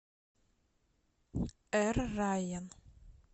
эр райян